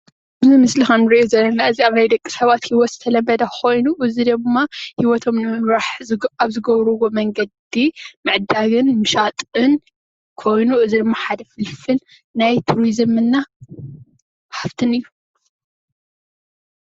እዚ ምስሊ ክንሪኦ ዘለና እዚ ኣብ ናይ ደቂ ሰባት ሂወት ዝተለምደ ኮይኑ እዚ ደማ ሂወቶም ንምምራሕ ኣብ ዝገብርዎ መንገዲ ምዕዳግን ምሻጥን ኮይኑ እዚ ድማ ሓደ ፍልፍል ናይ ቱሪዝም እና ሃፍትን እዩ።